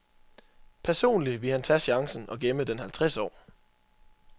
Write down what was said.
Personlig ville han tage chancen og gemme den halvtreds år.